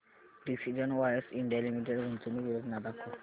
precision wires India limited गुंतवणूक योजना दाखव